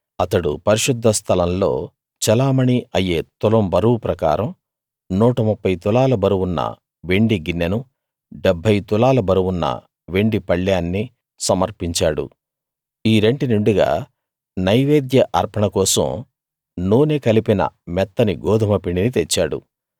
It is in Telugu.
అతడు పరిశుద్ధ స్థలంలో చెలామణీ అయ్యే తులం బరువు ప్రకారం 130 తులాల బరువున్న వెండి గిన్నెనూ 70 తులాల బరువున్న వెండి పళ్ళేన్నీ సమర్పించాడు ఈ రెంటి నిండుగా నైవేద్య అర్పణ కోసం నూనె కలిపిన మెత్తని గోదుమ పిండిని తెచ్చాడు